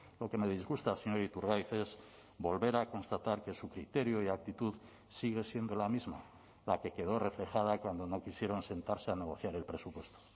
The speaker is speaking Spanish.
lo que me disgusta señor iturgaiz es volver a constatar que su criterio y actitud sigue siendo la misma la que quedó reflejada cuando no quisieron sentarse a negociar el presupuesto